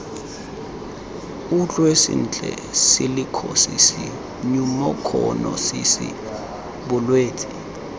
utlwe sentle silikhosisi nyumokhonosisi bolwetse